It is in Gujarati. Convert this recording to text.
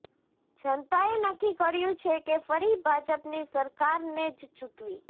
જનતાએ નક્કી કર્યું છે કે ફરી ભાજપની સરકારને જ ચૂંટવી